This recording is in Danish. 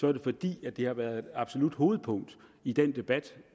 er det fordi det har været et absolut hovedpunkt i den debat